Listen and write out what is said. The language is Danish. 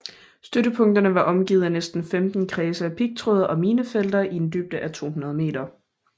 Støttepunkterne var omgivet af næsten 15 kredse af pigtråd og minefelter i en dybde af 200 meter